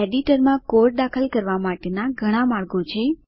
એડિટરમાં કોડ દાખલ કરવા માટેના ઘણા માર્ગો છે